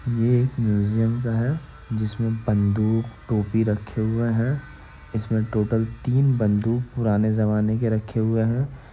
ये एक म्यूजियम का है जिसमे बंदूक टोपी रखे हुए है इसमें टोटल तीन बंदूक पुराने ज़माने के रखे हुए हैं ।